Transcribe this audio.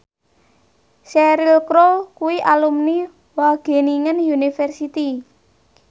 Cheryl Crow kuwi alumni Wageningen University